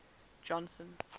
johnson